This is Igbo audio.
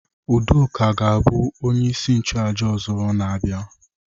Udoka ga-abụ onye isi nchụaja ọzọ na-abịa.